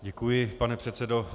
Děkuji, pane předsedo.